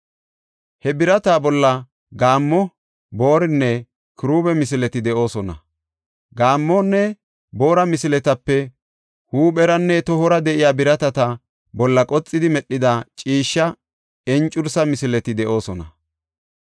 He birata bolla gaammo, boorinne kiruube misileti de7oosona; gaammonne boora misiletape huupheranne tohora de7iya biratata bolla qoxidi medhida ciishsha encursa misileti de7oosona.